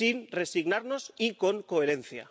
Sin resignarnos y con coherencia.